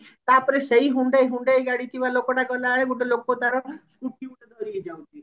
ତାପରେ ସେଇ hyundai hyundai ଗାଡି ଥିବା ଲୋକଟା କହିଲା ଆରେ ଗୋଟେ ଲୋକ ତାର scooty ଗୋଟେ ଧରିକି ଯାଉଛି